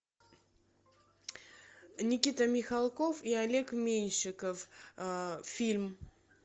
никита михалков и олег меньшиков фильм